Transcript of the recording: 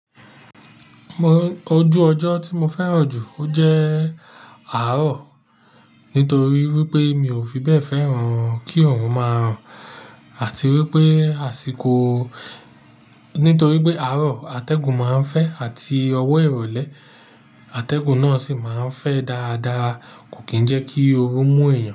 Ojú ọjọ́ tí mo fẹ́ràn jù o jẹ́ àárọ̀. Nítorí wípé mi ò fi bẹ́ẹ̀ fẹ́ràn kí oòrùn máa ràn àti wípé àsìkò, nítorí pé àárọ̀ atẹ́gùn máa ń fẹ́ àti ọwọ́ ìrọ̀lẹ́. Atẹ́gùn náà sì máa ń fẹ́ dáadáa. Kò kì ń jẹ́ kí oru mú èèyàn.